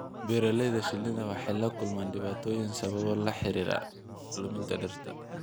Beeralayda shinnida waxay la kulmayaan dhibaatooyin sababo la xiriira luminta dhirta.